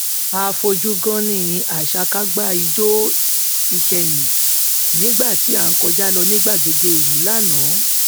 a fojú gánní àṣakágbá ijó ikẹyin nígbà tí à ń kọjá lọ ní gbàgede ìlú lánàá